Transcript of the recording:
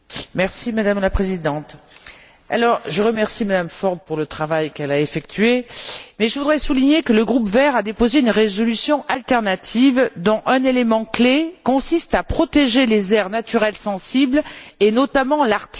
Madame la Présidente, je remercie madame Ford pour le travail qu'elle a effectué, mais je voudrais souligner que le groupe Verts a déposé une résolution alternative dont un élément clé consiste à protéger les aires naturelles sensibles, et notamment l'Arctique.